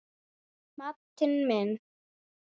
Matti minn.